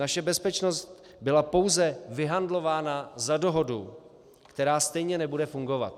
Naše bezpečnost byla pouze vyhandlována za dohodu, která stejně nebude fungovat.